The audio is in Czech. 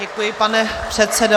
Děkuji, pane předsedo.